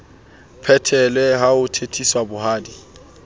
phethelwe ha ho thetheswa bohadi